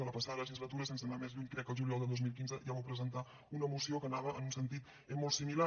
a la passada legislatura sense anar més lluny crec que el juliol de dos mil quinze ja vau presentar una moció que anava en un sentit molt similar